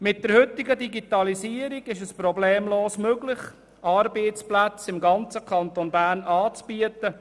Mit der heutigen Digitalisierung ist es problemlos möglich, Arbeitsplätze im ganzen Kanton Bern anzubieten.